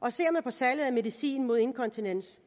og ser på salget af medicin mod inkontinens